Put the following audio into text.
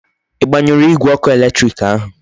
I gbanyuru Igwe oku eletiriki ahu?